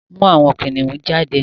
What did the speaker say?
mú àwọn kìnìún jáde!